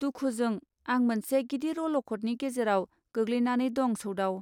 दुखुजों आं मोनसे गिदिर अलखदनि गेजेराव गोग्लैनानैदं सौदाव.